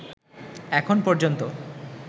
এখন পর্যন্ত